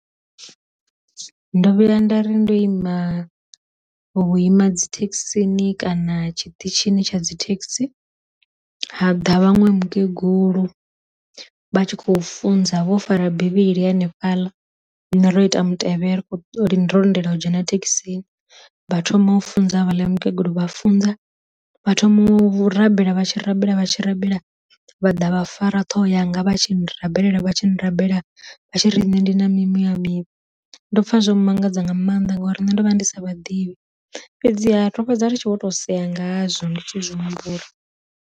Ndo vhuya nda ri ndo ima vhuima dzithekhisini kana tshi ṱitshini tsha dzi thekhisi, ha ḓa vhaṅwe mukegulu vha tshi khou funza vho fara bivhili hanefhaḽa ri ne ro ita mutevhe uri ri ro lindela u dzhena thekhisini, vha thoma u funza havhaḽa mukegulu vha funza vha thoma u rabela vha tshi rabela vha tshi rabela vhaḓa vha fara ṱhoho yanga vha tshi rabelela vha tshi ni rabela vha tshi ri nṋe ndi na mi muya mivhi, ndo pfa zwo mmangadza nga maanḓa ngauri nne ndo vha ndi sa vha ḓivhi, fhedziha ro fhedza ri tshi vho to sea nga ha zwo ndi tshi zwi humbula.